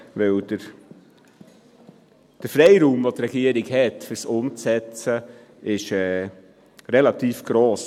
Denn der Freiraum, den die Regierung bei der Umsetzung hat, ist relativ gross.